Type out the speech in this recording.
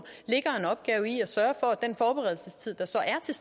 ligger en opgave i at sørge for at den forberedelsestid der så er til